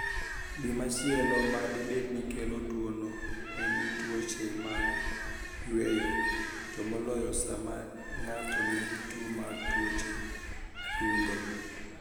Gimachielo mabenide kelo tuwono eni tuoche mag yweyo, to moloyo sama nig'ato niigi tuwo mar tuoche adunido.